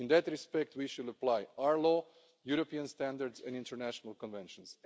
In that respect, we shall apply our law, European standards and international conventions.